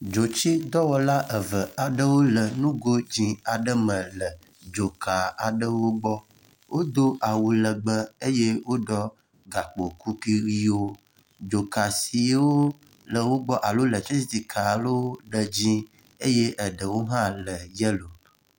Dzotsidɔwɔla eve aɖewo le nugo dzi aɖe me le dzoka aɖewo gbɔ. Wodo awu legbe eye woɖɔ gakpo kuku ʋiwo. Dzoka siwo le wo gbɔ alo letriciti ka le dzie eye eɖewo hã le yelo.